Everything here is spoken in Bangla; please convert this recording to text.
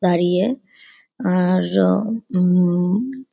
দাঁড়িয়ে আর ওহ হুম --